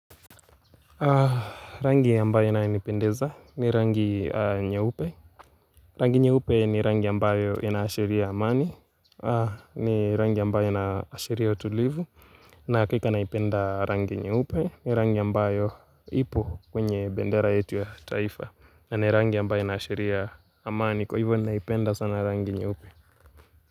Rangi ambayo inaipendeza ni rangi nyeupe Rangi nyeupe ni rangi ambayo inaashiria amani ni rangi ambayo inaashiria utulivu na hakika naipenda rangi nyeupe ni rangi ambayo ipo kwenye bendera yetu ya taifa na ni rangi ambayo inaashiria amani Kwa hivyo naipenda sana rangi nyeupe.